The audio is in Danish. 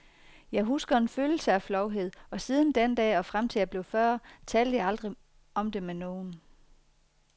Jeg husker en følelse af flovhed, og siden den dag og frem til jeg blev fyrre, talte jeg aldrig om det med nogen.